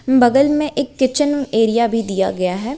बगल में एक किचन एरिया भी दिया गया है।